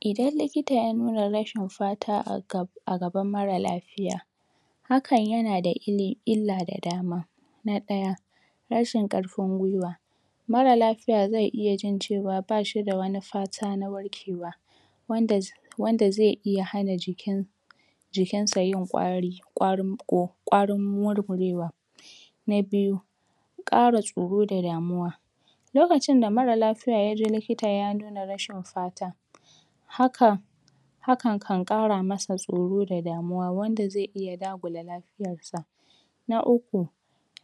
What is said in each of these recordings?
idan likita ya nuna rashin fata aga agaban mara lafiya hakan yanada illi illa da dama na ɗaya rashin karfin gwiwa mara lafiya ze iya jin cewa bashida wani fata na warkewa wanda z wanda ze iya hana jiki jikinsa yin kwari kwarunko kwarin murmurewa na biyu kara tsoro da damuwa lokacinda mara lafiya yakje likita ya nuna rashin fata hakan hakan kan kara masa tsoro da damuwa wanda ze iya dagula lafiyar sa na uku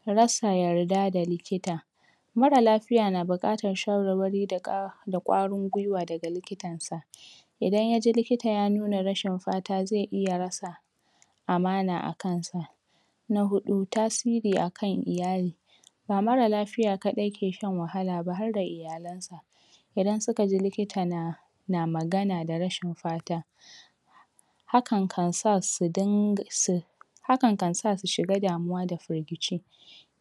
rasa yarda da likita mara lafiya na bukatan shawarwari da ka da kwarin gwiwa daga likitansa idan yaji likita ya nuna rashin fata ze iya rasa amana akansa na hudu tasiri akan iyali ba mara lafiya kadai ke shan wahalaba harda iyalansa idan sukaji likita na na magana da rashin fata hakan kansa su ding su hakan kansa su shiga damuwa da firgici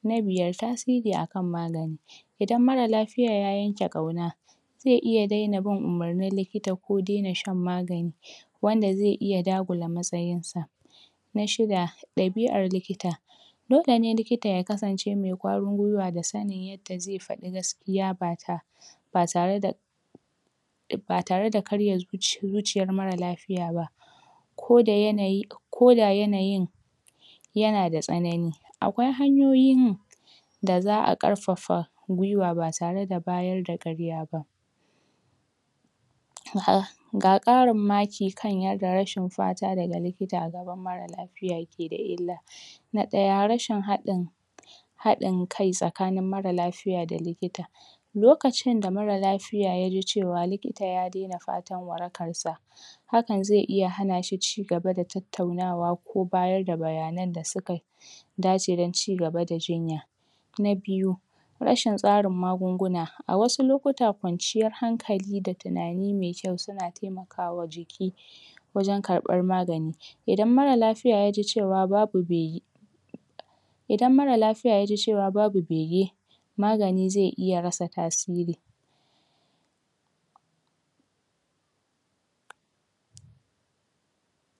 na biyar tasiri akan magani idan mara lafiya ya yanke kauna ze iya dena bin umurnin likita ko dena shan magani wanda ze iya dagula matsayinsa na shida dabi'ar likita dole ne likita ya kasance mai kwarin gwiwa da sanin yanda ze fadi gaskiya bata ba tareda ba tareda karye zuci zuciyar mara lafiya ba koda koda yanayin yanada tsanani akwai hanyoyin da za'a karfafa gwiwa ba tareda bayarda karyaba ha ga karin maki kan ya rashin fata daga likita agaban mara lafiya dakeda illa na daya rashin hadin hadin kai tsakanin mara lafiya da likita lokacinda mara lafiya yaji cewa likita ya dena fatan warakansa hakan ze iya hanashi cigaba da tattaunawa ko bayarda bayanan da suka dace don cigaba da jinya na biyu rashin tsarin magunguna awasu lokuta kwanciyar hankali da tunani me kyau suna taimakawa jiki wajan karban magani idan mara lafiya yaji cewa babi be (yi) idan mara lafiya yaji cewa babu bege magani ze iya rasa tasiri